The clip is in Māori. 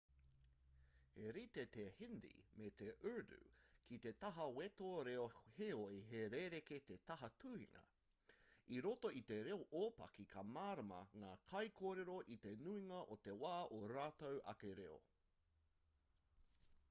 he rite te hindi me te urdu ki te taha wete reo heoi he rerekē te taha tuhinga i roto i te reo ōpaki ka mārama ngā kaikōrero i te nuinga o te wā ō rātou ake reo